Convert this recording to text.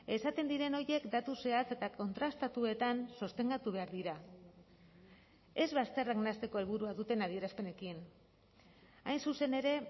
esaten diren horiek datu zehatz eta kontrastatuetan sostengatu behar dira ez bazterrak nahasteko helburua duten adierazpenekin hain zuzen ere